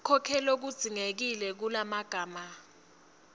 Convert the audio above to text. konkhe lokudzingekile lokungemagama